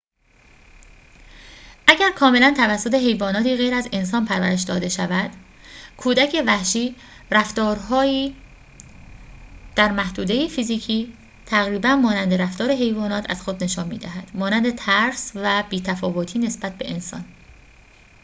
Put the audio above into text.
اگر کاملا توسط حیواناتی غیر از انسان پرورش داده شود، کودک وحشی رفتارهایی در محدوده فیزیکی تقریباً مانند رفتار حیوانات از خود نشان می‌دهد، مانند ترس و بی تفاوتی نسبت به انسان